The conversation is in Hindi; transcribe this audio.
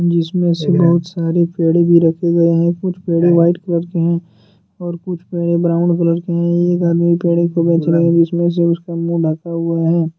इसमें से बहुत सारे पेड़े रखे गए हैं कुछ पेड़े व्हाइट कलर के हैं और कुछ पेड़े ब्राऊन कलर के हैं एक आदमी पेड़े को बेच रहा है बीच में से उसका मुंह ढका हुआ है।